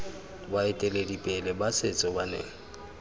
baeteledipele ba setso ba ne